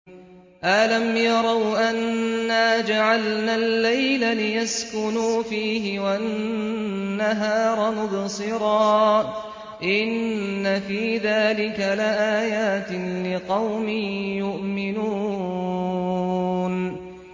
أَلَمْ يَرَوْا أَنَّا جَعَلْنَا اللَّيْلَ لِيَسْكُنُوا فِيهِ وَالنَّهَارَ مُبْصِرًا ۚ إِنَّ فِي ذَٰلِكَ لَآيَاتٍ لِّقَوْمٍ يُؤْمِنُونَ